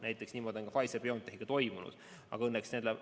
Näiteks on see toimunud Pfizer/BioNTechiga.